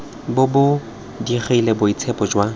bo bo digile boitshepo jwa